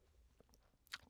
DR K